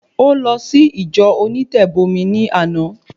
Ó lọ sí ìjọ onítẹ̀bọmi ní àná